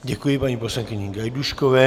Děkuji paní poslankyni Gajdůškové.